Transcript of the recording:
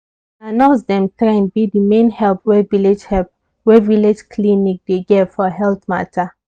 na nurse dem trained be the main help wey village help wey village clinic dey get for health matter.